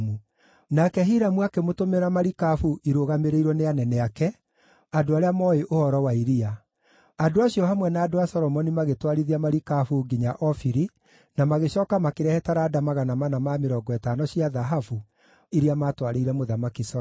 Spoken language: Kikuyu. Nake Hiramu akĩmũtũmĩra marikabu irũgamĩrĩirwo nĩ anene ake, andũ arĩa mooĩ ũhoro wa iria. Andũ acio, hamwe na andũ a Solomoni magĩtwarithia marikabu nginya Ofiri na magĩcooka makĩrehe taranda 450 cia thahabu, iria maatwarĩire Mũthamaki Solomoni.